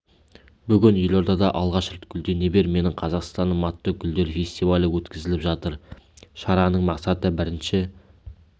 бүгін елордада алғаш рет гүлдене бер менің қазақстаным атты гүлдер фестивалі өткізіліп жатыр шараның мақсаты бірінші